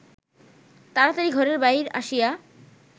তাড়াতাড়ি ঘরের বাহির আসিয়া